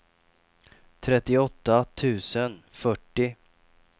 trettioåtta tusen fyrtio